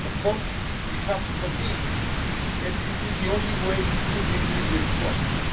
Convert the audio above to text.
years. Of course, we have to continue. This is the only way to deal with the root